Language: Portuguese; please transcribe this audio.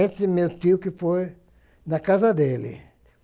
Esse meu tio que foi na casa dele.